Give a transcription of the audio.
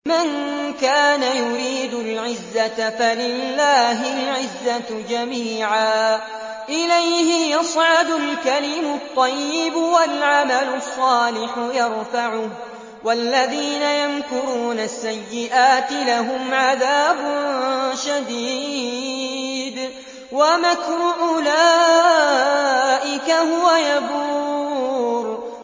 مَن كَانَ يُرِيدُ الْعِزَّةَ فَلِلَّهِ الْعِزَّةُ جَمِيعًا ۚ إِلَيْهِ يَصْعَدُ الْكَلِمُ الطَّيِّبُ وَالْعَمَلُ الصَّالِحُ يَرْفَعُهُ ۚ وَالَّذِينَ يَمْكُرُونَ السَّيِّئَاتِ لَهُمْ عَذَابٌ شَدِيدٌ ۖ وَمَكْرُ أُولَٰئِكَ هُوَ يَبُورُ